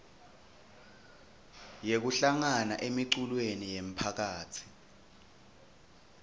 yekuhlangana emiculweni yemphakatsi